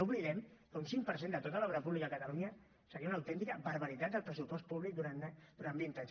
no oblidem que un cinc per cent de tota l’obra pública a catalunya seria una autèntica barbaritat del pressupost públic durant vint anys